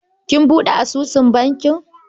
Kin buɗe asusun bankin?